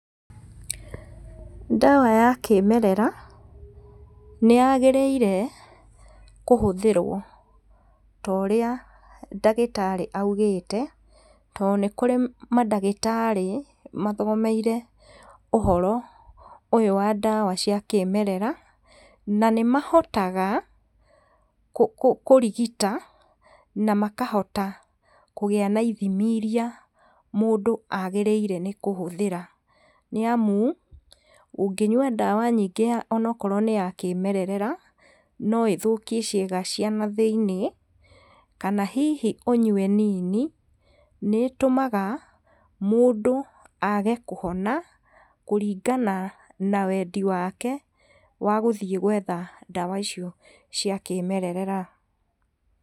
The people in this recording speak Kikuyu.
Ndawa ya kĩmerera nĩ yagĩrĩire kũhũthĩrwo torĩa ndagĩtari augĩte, tondũ nĩ kũrĩ mandagĩtarĩ mathomeire ũhoro ũyũ wa ndawa cia kĩmerera, na nĩ mahotaga kũrigita, na makahota gũgĩa na ithimi iria mũndũ agĩrĩire nĩ kũhũthĩra, nĩ amu ũngĩnyua ndawa nyingĩ ya onokorwo nĩ ya kĩmerera, no ĩthũkie ciĩga cia nathĩinĩ, kana hihi ũnyue nini, nĩ ĩtũmaga mũndũ age kũhona, kũringana na wendi wake wa gũthiĩ gwetha ndawa icio cia kĩmerera.